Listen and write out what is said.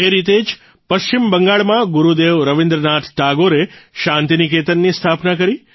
એ રીતે જ પશ્ચિમ બંગાળમાં ગુરૂદેવ રવિન્દ્રનાથ ટાગોરે શાન્તિનિકેતનની સ્થાપના કરી